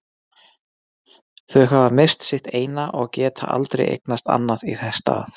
Þau hafa misst sitt eina og geta aldrei eignast annað í þess stað.